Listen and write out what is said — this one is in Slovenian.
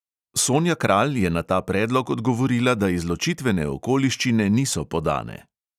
Sonja kralj je na ta predlog odgovorila, da izločitvene okoliščine niso podane.